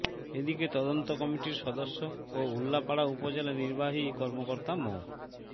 এদিকে তদন্ত কমিটির সদস্য ও উল্লাপাড়া উপজেলা নির্বাহী কর্মকর্তা মো